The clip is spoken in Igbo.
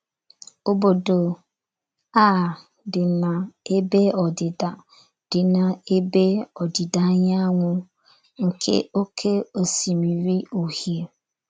Obodo a dị n’ebe ọdịda dị n’ebe ọdịda anyanwụ nke Oké Osimiri Uhie.